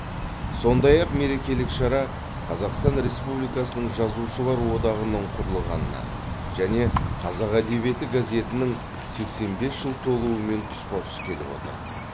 сондай ақ мерекелік шара қазақстан республикасының жазушылар одағының құрылғанына және қазақ әдебиеті газетінің сексен бес жыл толуымен тұспа тұс келіп отыр